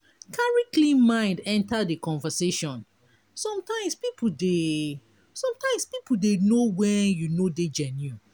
carry clean mind enter di conversation sometimes pipo dey sometimes pipo dey know when you no dey genuine